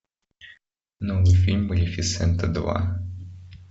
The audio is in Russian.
новый фильм малефисента два